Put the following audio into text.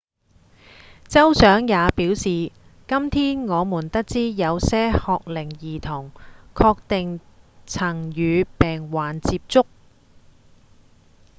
州長也表示：「今天我們得知有些學齡兒童確定曾與病患接觸」